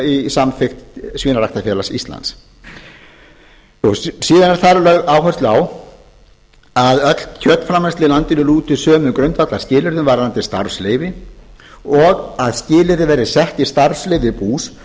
í samþykkt svínaræktarfélags íslands síðan er þar lögð áhersla á að öll kjötframleiðsla í landinu lúti sömu grundvallarskilyrðum varðandi starfsleyfi og að skilyrði verði sett i starfsleyfa bús